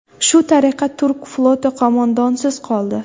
Shu tariqa turk floti qo‘mondonsiz qoldi.